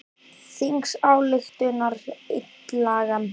Þingsályktunartillagan miðaði að því að ég fengi bætur ekki styrk!